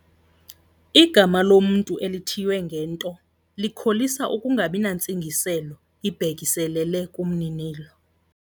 Igama lomntu elithiywe ngento likholisa ukungabi nantsingiselo ibhekiselele kumninilo.